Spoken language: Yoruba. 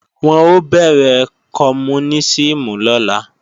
Wọ́n ó bẹ̀rẹ̀ kọmúnísìmù lọ́la